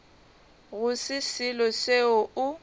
go se selo seo o